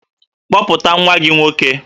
Kpọpụta nwa gị nwoke!